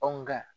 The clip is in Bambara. Anw ka